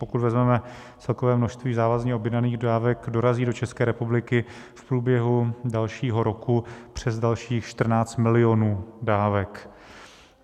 Pokud vezmeme celkové množství závazně objednaných dávek, dorazí do České republiky v průběhu dalšího roku přes dalších 14 milionů dávek.